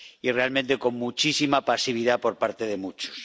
realmente con muchísima pasividad por parte de muchos.